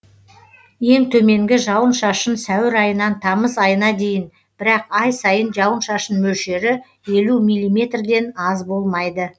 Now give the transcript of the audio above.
ең төменгі жауын шашын сәуір айынан тамыз айына дейін бірақ ай сайын жауын шашын мөлшері елу милиметрден аз болмайды